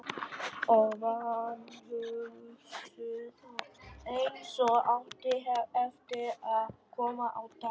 Og vanhugsuðu, eins og átti eftir að koma á daginn.